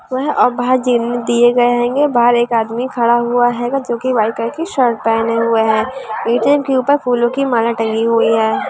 वह दिए गए हैंगे बाहर एक आदमी खड़ा हुआ हैगा जो कि व्हाइट कलर की शर्ट पहने हुए है ए_टी_एम के ऊपर फूलों की माला टंगी हुई है।